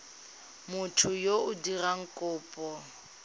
motho yo o dirang kopo